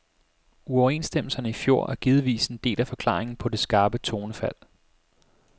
Uoverenstemmelserne i fjor er givetvis en del af forklaringen på det skarpe tonefald.